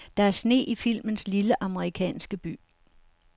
Der er sne i filmens lille, amerikanske by.